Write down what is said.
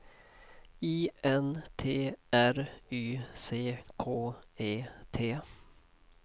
I N T R Y C K E T